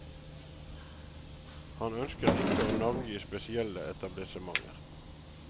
Han ønsker ikke å navngi spesielle etablissementer.